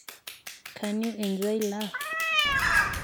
can you enjoy love?